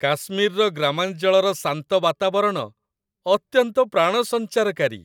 କାଶ୍ମୀରର ଗ୍ରାମାଞ୍ଚଳର ଶାନ୍ତ ବାତାବରଣ ଅତ୍ୟନ୍ତ ପ୍ରାଣସଞ୍ଚାରକାରୀ।